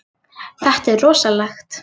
Þetta er rosalegt.